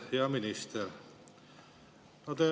Hea minister!